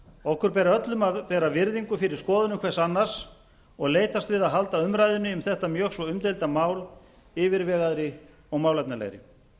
okkur ber öllum að bera virðingu fyrir skoðunum hvers annars og leitast við að halda umræðunni um þetta mjög svo umdeilda mál yfirvegaðri og málefnalegri